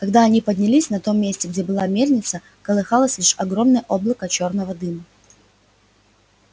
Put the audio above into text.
когда они поднялись на том месте где была мельница колыхалось лишь огромное облако чёрного дыма